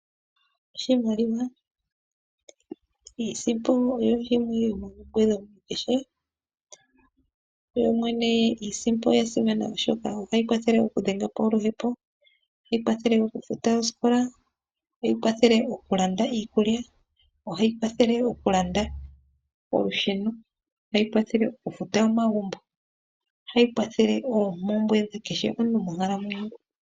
Oshimaliwa, iisimpo oyo yimwe yo moompumbwe dhasimana. Yoyene iisimpo oya simana oshoka otayi kwathele oku dhenga oluhepo. Otayi kwathele oku futa oosikola, ohayi kwathele oku landa iikulya. Ohayi kwathele oku landa olusheno, ohayi kwathele oku futa omagumbo. Ohayi kwale oku landa oompumbwe dha kehe gumwe monkalamwenyo.